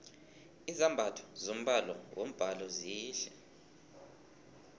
izambatho zombala wombhalo zihle